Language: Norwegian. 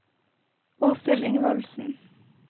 Åshild Ingvaldsen